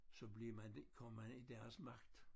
Så bliver man kommer man i deres magt